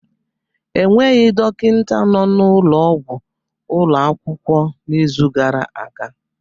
Enweghị dọkịta nọ n'ụlọ ọgwụ ụlọ akwụkwọ n'izu gara aga.